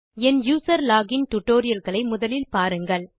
என் user login tutorial களை முதலில் பாருங்கள்